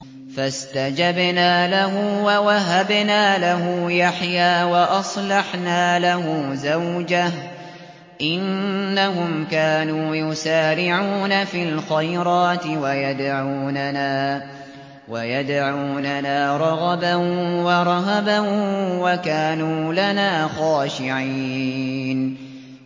فَاسْتَجَبْنَا لَهُ وَوَهَبْنَا لَهُ يَحْيَىٰ وَأَصْلَحْنَا لَهُ زَوْجَهُ ۚ إِنَّهُمْ كَانُوا يُسَارِعُونَ فِي الْخَيْرَاتِ وَيَدْعُونَنَا رَغَبًا وَرَهَبًا ۖ وَكَانُوا لَنَا خَاشِعِينَ